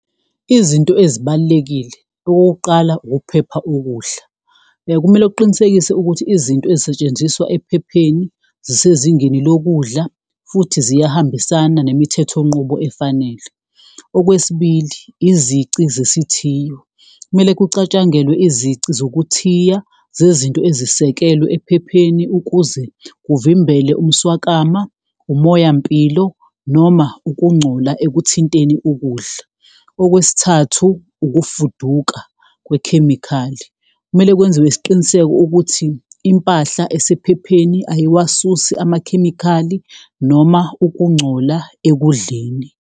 Izinto ezibalulekile okokuqala ukuphepha okudla, kumele uqinisekise ukuthi izinto ezisetshenziswa ephepheni zisezingeni lokudla futhi ziyahambisana nemithethonqubo efanele. Okwesibili izici sesithiyo, kumele kucatshangelwe izici zokuthiya zezinto ezisekelwe ephepheni ukuze kuvimbele umswakama, umoyampilo noma ukungcola ekuthinteni ukudla. Okwesithathu ukufuduka kwekhemikhali, kumele kwenziwe isiqiniseko ukuthi impahla asephepheni ayiwasusi amakhemikhali noma ukungcola ekudleni.